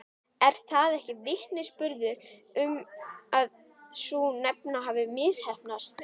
Er það ekki vitnisburður um að sú stefna hafi misheppnast?